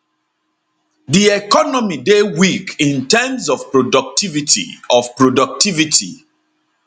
di economy dey weak in terms of productivity of productivity